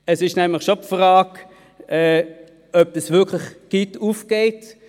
Es stellt sich nämlich schon die Frage, ob die Rechnung wirklich aufgeht.